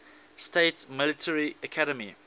states military academy